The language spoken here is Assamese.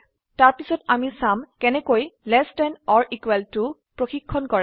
তাৰপিছত আমি চাম কেনেকৈless থান অৰ ইকোৱেল toপৰিক্ষন কৰে